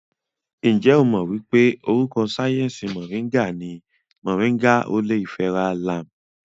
Ǹjẹ́ o mọ̀ wípé orúkọ sáyẹnsì Mọ̀ríngà ní Moringa oleifera Lam?